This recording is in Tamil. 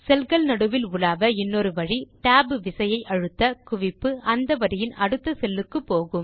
செல் கள் நடுவில் உலாவ இன்னொரு வழி tab விசையை அழுத்த குவிப்பு அந்த வரியின் அடுத்த செல் க்கு போகும்